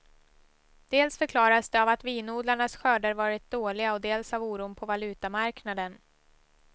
Dels förklaras det av att vinodlarnas skörder varit dåliga och dels av oron på valutamarknaden.